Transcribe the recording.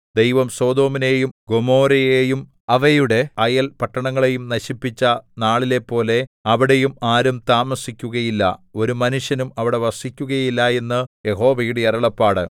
ദൈവം സൊദോമിനെയും ഗൊമോരയെയും അവയുടെ അയൽ പട്ടണങ്ങളെയും നശിപ്പിച്ച നാളിലെപ്പോലെ അവിടെയും ആരും താമസിക്കുകയില്ല ഒരു മനുഷ്യനും അവിടെ വസിക്കുകയില്ല എന്ന് യഹോവയുടെ അരുളപ്പാട്